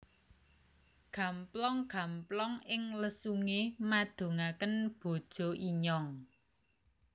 Gamplong gamplong ing lesunge madungaken bojo inyong